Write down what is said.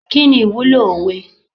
Kini ìwúlò òwe?